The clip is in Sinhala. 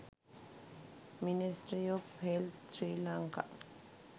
ministry of health sri lanka